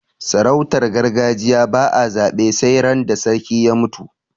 sarautar gargajiya ba a zabe sai ran da sarki ya mutu